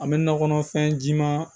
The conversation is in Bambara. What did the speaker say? An bɛ nakɔ kɔnɔfɛn jiman